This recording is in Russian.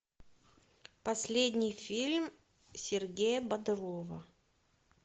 последний фильм сергея бодрова